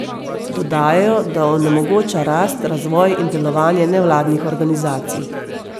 Dodajajo, da onemogoča rast, razvoj in delovanje nevladnih organizacij.